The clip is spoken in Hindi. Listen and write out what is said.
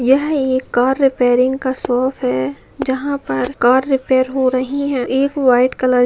यह एक कार रिपेरिंग का शॉप है जहां पर कार रिपेयर हो रही है एक व्हाइट कलर --